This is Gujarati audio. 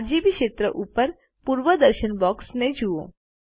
આરજીબી ક્ષેત્ર ઉપર પૂર્વદર્શન બૉક્સને જુઓ